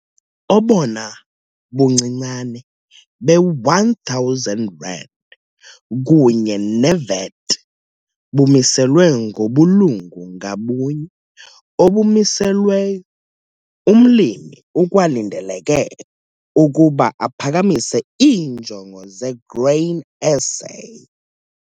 Obona buncinane be-R1 000 kunye neVAT bumiselwe ngobulungu ngabunye obumiselweyo. Umlimi ukwalindeleke ukuba aphakamise iinjongo zeGrain SA.